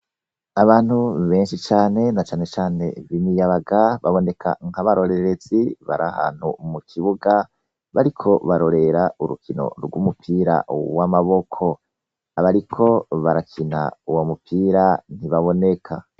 Abantu benshi cane na canecane b'imiyabaga baboneka nkabarorerezi barahantu mukibuga bariko bararorera urukino gw'umupira w'amaboko, abariko barakina uwomupira ntibaboneka.